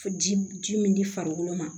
Ji ji min di farikolo ma